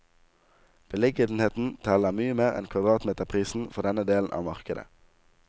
Beliggenhet teller mye mer enn kvadratmeterprisen for denne delen av markedet.